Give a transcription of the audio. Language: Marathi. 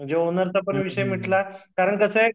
ओनरचा विषय मिटला कारण कस आहे